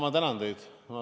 Ma tänan teid!